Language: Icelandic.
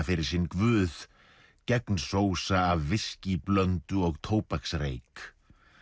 fyrir sinn guð gegnsósa af viskíblöndu og tóbaksreyk